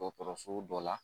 Dɔgɔtɔrɔso dɔ la